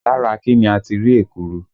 Lára kí ni a ti rí ekuru?